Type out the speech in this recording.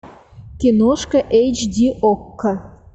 киношка эйч ди окко